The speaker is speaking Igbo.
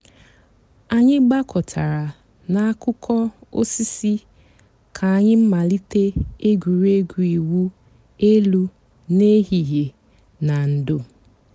ànyị̀ gbàkọ̀tárà n'àkùkò òsìsì kà ànyị̀ màlítè ègwè́régwụ̀ ị̀wụ̀ èlù n'èhìhìè nà ndò̩.